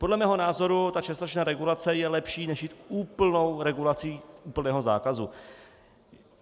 Podle mého názoru ta částečná regulace je lepší než jít úplnou regulací, úplného zákazu.